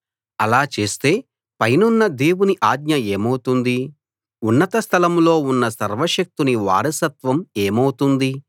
అలా చేస్తే పైనున్న దేవుని ఆజ్ఞ ఏమౌతుంది ఉన్నత స్థలంలో ఉన్న సర్వశక్తుని వారసత్వం ఏమౌతుంది